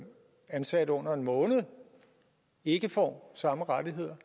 ansat under en måned ikke får samme rettigheder